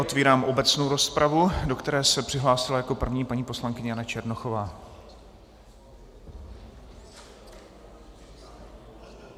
Otvírám obecnou rozpravu, do které se přihlásila jako první paní poslankyně Jana Černochová.